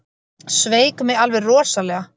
Sveik mig alveg rosalega.